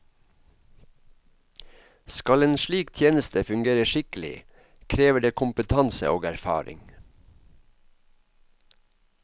Skal en slik tjeneste fungere skikkelig, krever det kompetanse og erfaring.